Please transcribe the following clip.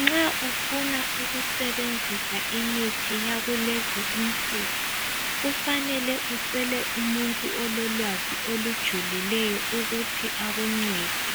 Nxa ufuna ukusebenzisa imithi yakulezi insuku. Kufanele ucele umuntu ololwazi olujulileyo, ukuthi akuncede,